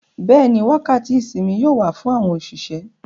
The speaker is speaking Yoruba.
Bẹ́ẹ̀ni, wákàtí ìsinmi yóò wà fún àwọn òṣìṣẹ́.